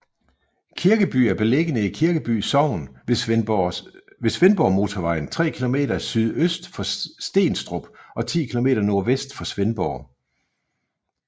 Kirkeby er beliggende i Kirkeby Sogn ved Svendborgmotorvejen tre kilometer sydøst for Stenstrup og 10 kilometer nordvest for Svendborg